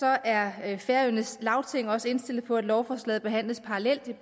er færøernes lagting også indstillet på at lovforslaget behandles parallelt